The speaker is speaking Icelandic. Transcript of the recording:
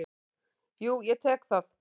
Jú, ég tek það.